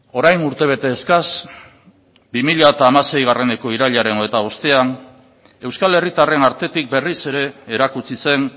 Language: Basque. orain urtebete eskas bi mila hamaseieko irailaren hogeita bostean euskal herritarren artetik berriz ere erakutsi zen